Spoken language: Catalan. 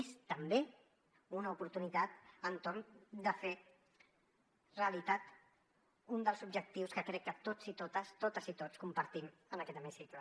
és també una oportunitat entorn de fer realitat un dels objectius que crec que tots i totes totes i tots compartim en aquest hemicicle